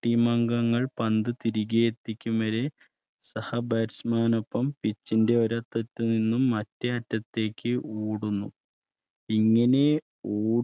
പന്ത് തിരികെ എത്തിക്കും വരെ സഹ Batchman നോപ്പം pich ന്റെ ഒരറ്റത്ത് നിന്നും മറ്റേ അറ്റത്തേക്ക് ഓടുന്നു ഇങ്ങനെ ഓടി